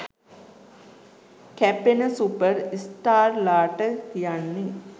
කැපෙන සුපර් ස්ටාර්ලාට කියන්නේ.